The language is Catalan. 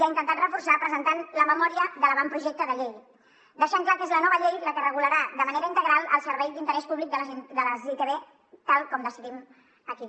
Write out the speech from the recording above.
ha intentat reforçar presentant la memòria de l’avantprojecte de llei i ha deixat clar que és la nova llei la que regularà de manera integral el servei d’interès públic de les itv tal com decidim aquí